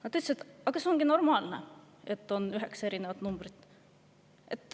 Nad ütlesid, et see ongi normaalne, kui on üheksa erinevat numbrit.